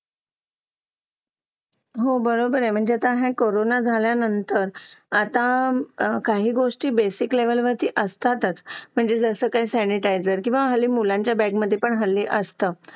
Late होतं सर्दी खोकला हा एक वाढलं आहे. एका मुलाला क्लास पूर्ण क्लास त्याच्यामध्ये वाहून निघत निघत असतो असं म्हणायला हरकत नाही. हो डेंग्यू, मलेरिया यासारखे आजार पण ना म्हणजे लसीकरण आहे. पूर्ण केले तर मला नाही वाटत आहे रोप असू शकतेपुडी लसीकरणाबाबत थोडं पालकांनी लक्ष दिलं पाहिजे की आपला मुलगा या वयात आलेला आहे. आता त्याच्या कोणत्या लसी राहिलेले आहेत का?